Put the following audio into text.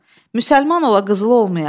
Müsəlman ola qızıl olmaya?